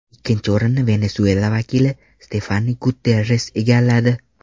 Ikkinchi o‘rinni Venesuela vakili Stefani Guterres egalladi.